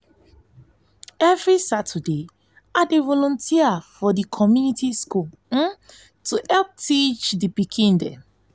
every saturday i dey volunteer for di community school to help teach di pikin dem.